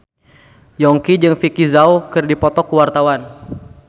Yongki jeung Vicki Zao keur dipoto ku wartawan